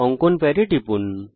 অঙ্কন প্যাডে টিপুন